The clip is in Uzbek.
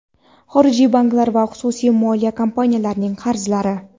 xorijiy banklar va xususiy moliya kompaniyalarining qarzlari;.